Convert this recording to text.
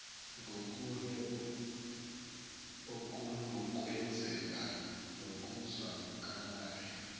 ngokunye okunokwenzeka nokuzwakalayo